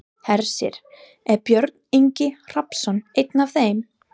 Hersir: Er Björn Ingi Hrafnsson einn af þeim?